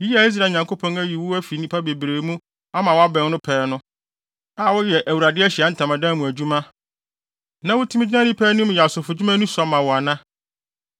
Yi a Israel Nyankopɔn ayi wo afi nnipa bebree mu ama woabɛn no pɛɛ no, a woyɛ Awurade Ahyiae Ntamadan mu adwuma, na wutumi gyina nnipa anim yɛ asɔfodwuma no sua ma wo ana?